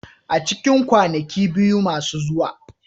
A cikin kwanaki biyu masu zuwa.